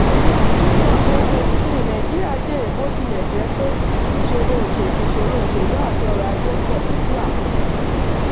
ní q one twenty twenty three nàìjíríà jèrè bó tilẹ̀ jẹ́ pé ìṣòro oselú ìṣòro oselú àti ọrọ̀ ajé wà.